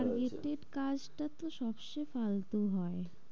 Target এর কাজ টা তো সবচেয়ে ফালতু হয়।